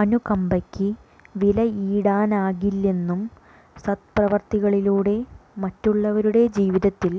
അനുകമ്പയ്ക്ക് വിലയിടാനാകില്ലെന്നും സദ്പ്രവൃത്തികളിലൂടെ മറ്റുള്ളവരുടെ ജീവിതത്തിൽ